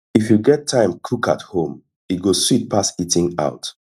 if you get time cook at home e go sweet pass eating out